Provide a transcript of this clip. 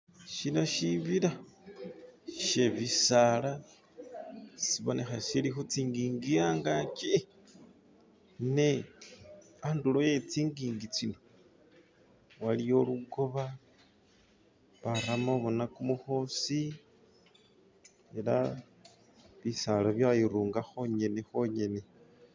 Shino shibila shebisala sibonekha shili khutsinji'nji angaki ne andulo e'tsinji'nji tsino waliwo lukooba baramo boona kumukhosi ela bisaala byairunga khwonyene khwonyene.